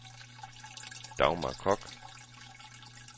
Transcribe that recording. Dagmar Kock